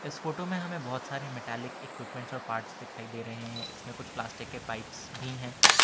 इस फोटो में हमें बहोत सारे मैटेलिक इक्विपमेंट्स और पार्ट्स दिखाई दे रहे हैं इसमें कुछ प्लास्टिक के पाइप्स भी हैं।